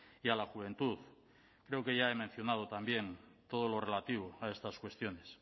y a la juventud creo que ya he mencionado también todo lo relativo a estas cuestiones